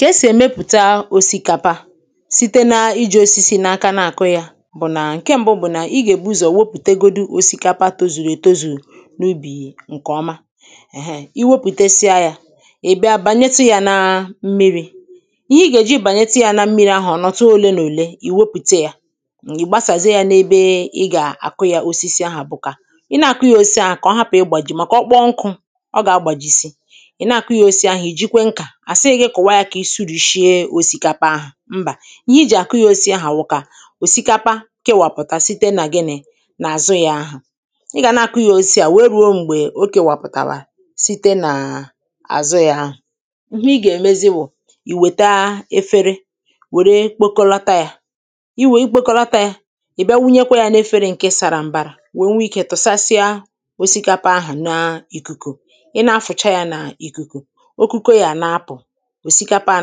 ka e sì èmepụ̀ta òsikapa site na-iji̇ osisi n’aka na-àkụ yȧ bụ̀ nà ǹke ṁbụ bụ̀ nà i gà-èbu ụzọ̀ wepùtegodi òsikapa tozùrù ètozù n’ubì ǹkè ọma iwepùtesia yȧ ị̀ bịa bànyetụ yȧ na mmiri̇ ihe i gà-èji bànyetụ yȧ na mmiri ahụ̀ ọ̀nọ̀tụ òle nà òle ì wepùte yȧ ị̀ gbasàzie yȧ n’ebe ị gà-àkụ yȧ osisi ahụ̀ bụ̀ kà ị na-àkụ ya osisi ahụ̀ kà ọ hapụ̀ ị gbàjì màkà ọkpọọ nkụ̇ ọ gà-agbàjisi àsịghị kụ̀wa ya kà ị sụ̇rị̇shie òsìkapa ahụ̀ mbȧ ihe i jì àkụ ya osì ahụ̀ kà òsìkapa kewàpụ̀ta site nà ginị̇ nà àzụ ya ahụ̀ i gà nà-àkụ ya osì a wèe rùo m̀gbè oke wàpụ̀tàrà site nà àzụ ya ahụ̀ ihe i gà-èmezi bụ̀ ìwèta efere wère kpokọlata ya i wee kpokọlata ya ị̀ bịa wunyekwa ya n’efere ǹke sara mbara wèe nwee ikė tụ̀sasịa òsìkapa ahụ̀ n’ìkùkùkù ị nà-afụ̀cha ya nà ìkùkùkù òsikapa à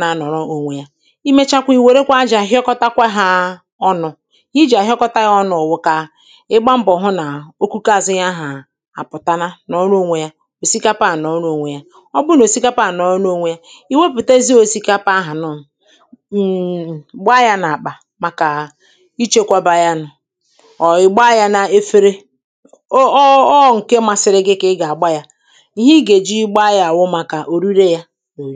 na-anọ̀ọrọ ònwe yȧ imechakwa i wèrekwa ajȧ hịọkọtakwa hȧ ọnụ̇ ihe i jì àhịọkọta yȧ ọnụ̇ bụ̀ kà ịgba mbọ̀ hụ̀ nà okukȧzụ̇ ihe ahà àpụ̀tala nọ̀ọrọ ònwe yȧ òsikapa à nọ̀ọrọ ònwe yȧ ọ bụnà òsikapa à nọ̀ọrọ ònwe yȧ i wepùtezi òsikapa ahụ̀ nụ̇ gbaa yȧ n’àkpà màkà ichėkwaba yȧ nọ̀ ọ̀ ị̀ gbaa yȧ n’efere ọ ọ ọ ǹke masịrị gị kà ị gà-àgba yȧ ihe ị gà-èji gbaa yȧ wụ̀màkà òrire yȧ anyị